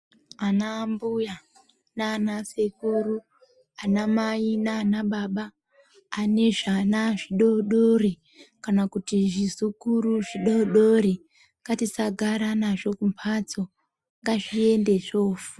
Anambuya naanasekuru ,anamai naanababa, ane zvana zvidodori, kana kuti zvizukuru zvidodori, ngatisagara nazvo kumphatso ,ngazviende zvofu......